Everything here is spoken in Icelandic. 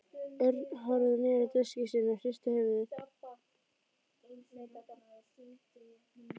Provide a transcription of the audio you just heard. Örn horfði niður á diskinn sinn og hristi höfuðið.